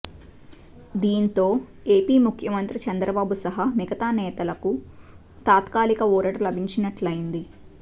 దీంతో ఏపీ ముఖ్యమంత్రి చంద్రబాబు సహా మిగతా నేతలకు తాత్కాలిక ఊరట లభించినట్లయింది